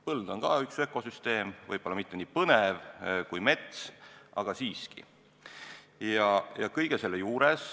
Põld on ka üks ökosüsteem, võib-olla mitte nii põnev kui mets, aga siiski.